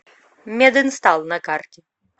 мединстал на карте